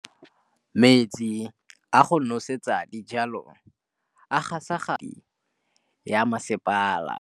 Metsi a go nosetsa dijalo a gasa gasa ke kgogomedi ya masepala.